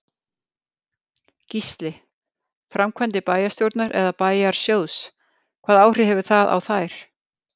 Gísli: Framkvæmdir bæjarstjórnar eða bæjarsjóðs, hvaða áhrif hefur það á þær?